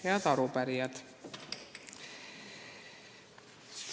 Head arupärijad!